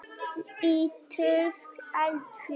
Ítölsk eldfjöll.